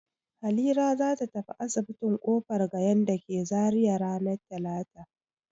Halira za ta tafi asibitin Kofar Gayan da ke Zariya ranar talata.